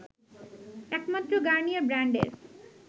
একমাত্র গার্নিয়ার ব্রান্ডের